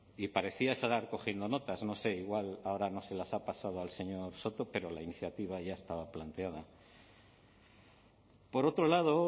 y parecía estar cogiendo notas no sé igual ahora no se las ha pasado al señor soto pero la iniciativa ya estaba planteada por otro lado